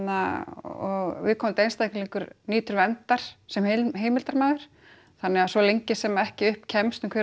og viðkomandi einstaklingur nýtur verndar sem heimildarmaður þannig að svo lengi sem að ekki upp kemst um hver